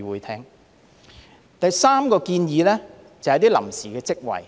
第三個建議是設立臨時職位。